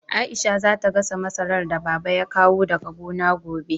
Aisha za ta gasa masarar da Baba ya kawo daga gona gobe.